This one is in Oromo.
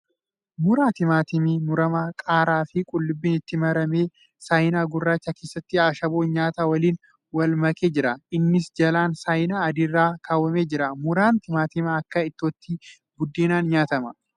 Muraa timaatimii muramaa qaaraa fi qullubbiin itti murame. Saayinaa gurracha keessatti ashaboo nyaataa waliin wal makee jira. Innis jalaan saayinaa adii irra kaawwamee jira. Muraan timaatimaa akka ittootti buddeeniin nyaatama.